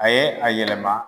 A ye a yɛlɛma